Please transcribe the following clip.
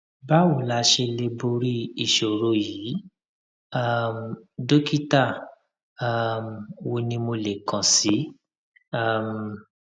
báwo la ṣe lè borí ìṣòro yìí um dókítà um wo ni mo lè kàn sí um